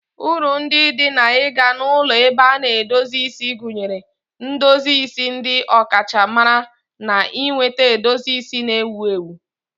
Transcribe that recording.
Uru ndị dị n'ịga na ulọ ebe a na-edozi isi gụnyere ndozi isi ndị ọkachamara na ịnweta edozi isi na-ewu ewu.